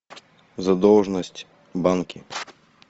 задолженность банки